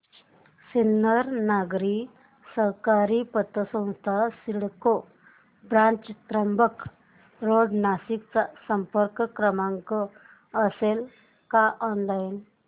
सिन्नर नागरी सहकारी पतसंस्था CIDCO branch Trimbak road Nashik चा संपर्क क्रमांक असेल का ऑनलाइन